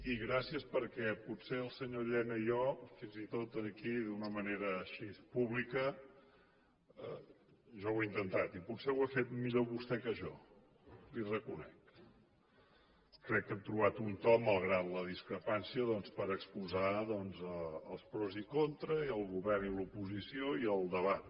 i gràcies perquè potser el senyor llena i jo fins i tot aquí d’una manera així pública jo ho he intentat i potser ho ha fet millor vostè que jo li ho reconec crec que hem trobat un to malgrat la discrepància doncs per exposar els pros i contres i el govern i l’oposició i el debat